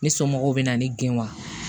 Ne somɔgɔw bɛna ne gɛn wa